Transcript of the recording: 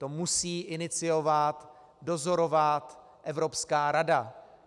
To musí iniciovat, dozorovat Evropská rada.